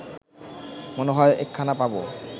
মনে হয় একখানা পাব